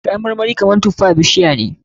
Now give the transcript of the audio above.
Kayan marmari kamar tufa bishiya ne.